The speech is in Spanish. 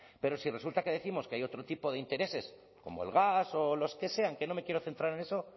pero si resulta que décimos que hay otro tipo de intereses como el gas o los que sean que no me quiero centrar en eso